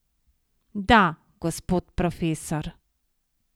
Da, gospod profesor!